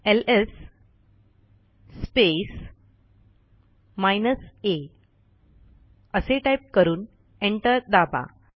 LS space minus a असे type करून enter दाबा